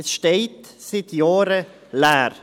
Es steht seit Jahren leer.